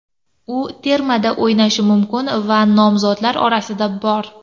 U termada o‘ynashi mumkin va nomzodlar orasida bor.